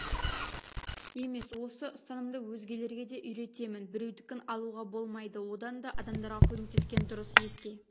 емес осы ұстанымды өзгелерге де үйретемін біреудікін алуға болмайды одан да адамдарға көмектескен дұрыс еске